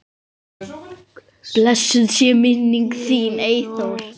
Blessuð sé minning þín, Eyþór.